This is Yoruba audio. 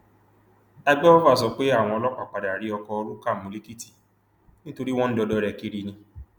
àgbẹfọfà sọ pé àwọn ọlọpàá padà rí ọkọ rúkà mú lèkìtì nítorí wọn ń dọdẹ rẹ kiri ni